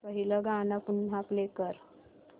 पहिलं गाणं पुन्हा प्ले कर